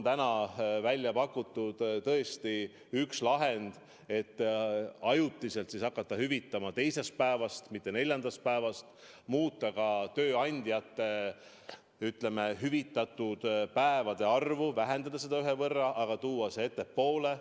Täna on välja pakutud tõesti üks lahend, et ajutiselt hakata hüvitama alates teisest päevast, mitte neljandast päevast, muuta ka tööandjate hüvitatavate päevade arvu, vähendada seda ühe võrra, aga tuua see ettepoole.